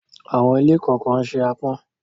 Àwọn ilé kọ̀ọ̀kan se àpọ̀n.